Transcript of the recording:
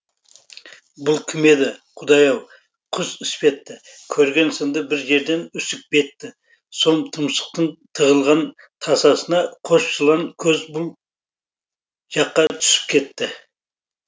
бұл кім еді құдай ау құс іспетті көрген сынды бір жерден үсік бетті сом тұмсықтың тығылған тасасына қос жылан көз бұл жаққа түсіп кетті